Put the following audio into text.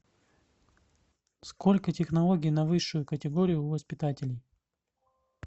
сколько технологий на высшую категорию у воспитателей